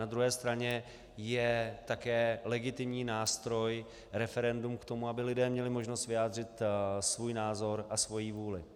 Na druhé straně je také legitimní nástroj referendum k tomu, aby lidé měli možnost vyjádřit svůj názor a svoji vůli.